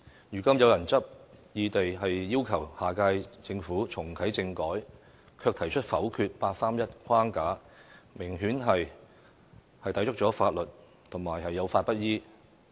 如今有人執意要求下屆政府重啟政改，卻提出否定八三一框架，明顯抵觸了法律，有法不依。